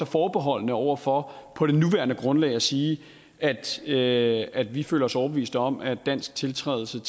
forbeholdne over for på det nuværende grundlag at sige at vi at vi føler os overbevist om at dansk tiltrædelse